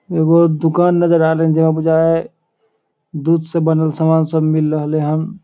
एगो दुकान नजर आ रहले जेई में बुझा दूध से बनल सामान सब मिल रहले हैन।